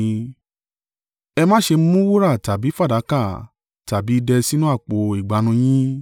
“Ẹ má ṣe mú wúrà tàbí fàdákà tàbí idẹ sínú àpò ìgbànú yín,